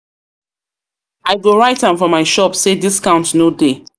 go write am for my shop sey discount no dey.